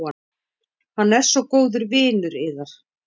Hann er svo góður vinur yðar.